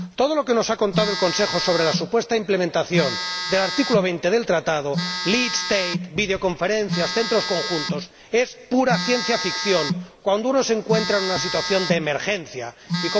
Todo lo que nos ha contado el Consejo sobre la supuesta implementación del artículo 20 del Tratado, Lead State videoconferencias, centros conjuntos, es pura ciencia ficción cuando uno se encuentra en una situación de emergencia y